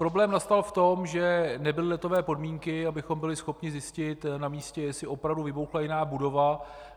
Problém nastal v tom, že nebyly letové podmínky, abychom byli schopni zjistit na místě, jestli opravdu vybuchla jiná budova.